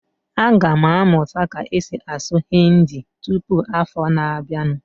Aga m amụta ka-esi asụ Hindi tụpụ afọ na abianu